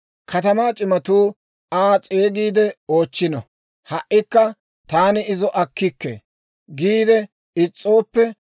Katamaa c'imatuu Aa s'eegiide oochchino; ha"ikka, ‹Taani izo akkikke› giide is's'ooppe,